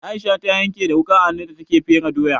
Aisha ta yanke da wuƙa a hannu da take fere doya.